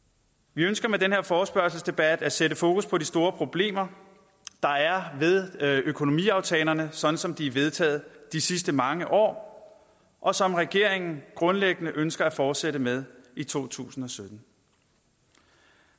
vi ønsker med den her forespørgselsdebat at sætte fokus på de store problemer der er ved økonomiaftalerne sådan som de er vedtaget de sidste mange år og som regeringen grundlæggende ønsker at fortsætte med i to tusind og sytten